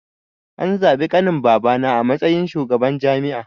An zabi ƙanin babana a matsayin shugaban jami'a